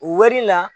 O wari la